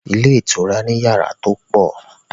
Ilé ìtura ni yàrá tí ó pọ̀.